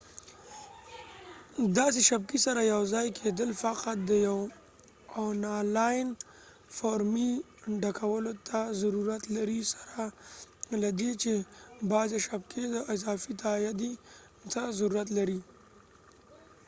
د داسې شبکې سره یوځای کیدل فقط د یو اونلاین فورمې ډکولو ته ضرورت لري سره لدې چې بعضې شبکې د اضافی تائیدۍ ته ضرورت لري